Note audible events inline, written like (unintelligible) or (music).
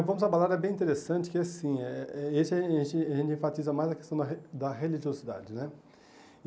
O Vamos Abalar é bem interessante, porque assim, eh eh esse (unintelligible) a gente enfatiza mais a questão da re da religiosidade, né?